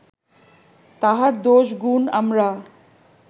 তাহার দোষ গুণ আমরা